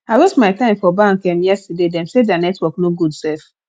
i waste my time for bank um yesterday dem say their network no good um